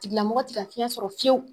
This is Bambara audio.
Tigila mɔgɔ te ka fiɲɛ sɔrɔ fiyewu